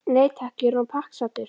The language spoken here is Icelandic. Nei takk, ég er orðinn pakksaddur